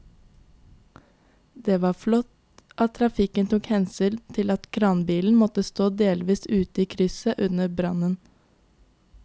Det var flott at trafikken tok hensyn til at kranbilen måtte stå delvis ute i krysset under brannen.